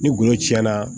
Ni goro tiɲɛna